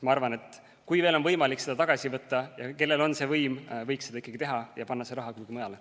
Ma arvan, et kui veel on võimalik seda tagasi võtta, siis võiks see, kellel on võim, seda teha ja panna see raha kuhugi mujale.